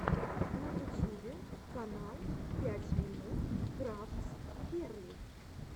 на ютьюбе канал пять минут крафтс герли